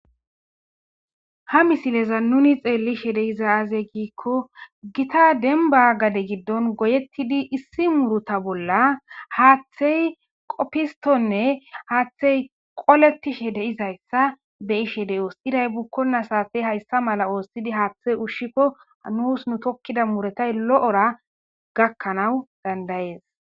ha misileza nuni xeellishe de iza aazey giikko gita denba gade giddon goyettidi issi muruta bolla haaththey qoppistonne haaththey qoletishe de izayssa be ishe dey oos iday bukkona saatey hayssa mala oossidi haaththey ushshikko nuus nu tokkida muretay lo7ora gakkanawu dandayees